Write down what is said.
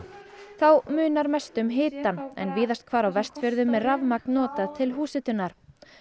þá munar mestu um hitann en víðast hvar á Vestfjörðum er rafmagn notað til húshitunar